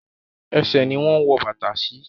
Ẹṣẹ̀ ni wọ́n ń wọ bàtà sí.